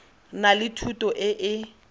na le thuto e e